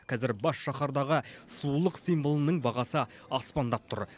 казір бас шаһардағы сұлулық символының бағасы аспандап тұр